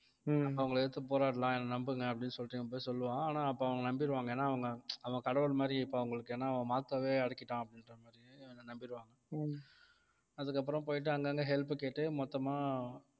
அவங்களை எதிர்த்து போராடலாம் என்னை நம்புங்க அப்படின்னு சொல்லிட்டு இவன் போய் சொல்லுவான் ஆனா அப்ப அவங்க நம்பிருவாங்க ஏன்னா அவங்க அவங்க கடவுள் மாதிரி இப்ப அவங்களுக்கு ஏன்னா அவன் makto வே அடக்கிட்டான் அப்படின்ற மாதிரி அவனை நம்பிருவாங்க அதுக்கப்புறம் போயிட்டு அங்கங்க help கேட்டு மொத்தமா